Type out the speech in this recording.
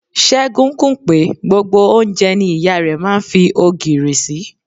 Ségun kùn pé gbogbo oúnjẹ ni ìyá rẹ máa ń fi ogìrì sí.